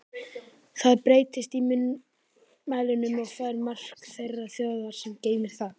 Það breytist í munnmælunum og fær mark þeirrar þjóðar, sem geymir það.